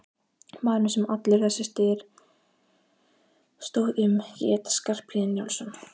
Maðurinn sem allur þessi styr stóð um hét Skarphéðinn Njálsson.